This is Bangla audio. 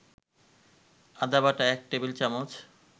আদাবাটা ১ টেবিল-চামচ